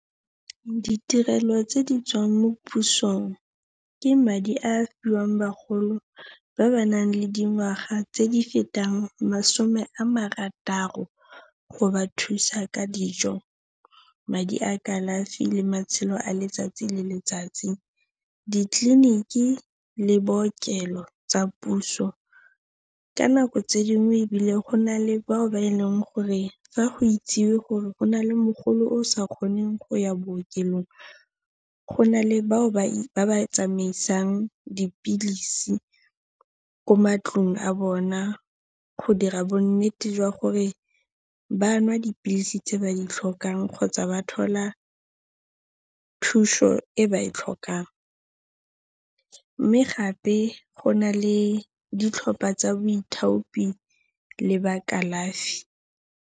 Ditirelo tse di tswang mo pusong ke madi a a fiwang bagolo ba ba nang le dingwaga tse di fetang masome a marataro, go ba thusa ka dijo, madi a kalafi le matshelo a letsatsi le letsatsi, ditleliniki le bookelo tsa puso. Ka nako tse dingwe ebile go na le bao ba e leng gore fa go itsewe gore go na le mogolo yo a sa kgoneng go ya bookelong, go na le bao ba tsamaisang dipilisi ko matlong a bona go dira bonnete jwa gore ba nwa dipilisi tse ba di tlhokang kgotsa ba thola thuso e ba e tlhokang, mme gape go na le ditlhopha tsa boithaopi le ba kalafi.